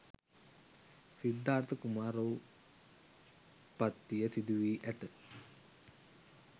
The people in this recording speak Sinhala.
සිද්ධාර්ථ කුමාරෝත්පත්තිය සිදුවී ඇත